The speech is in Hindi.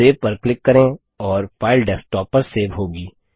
सेव पर क्लिक करें और फाइल डेस्कटॉप पर सेव होगी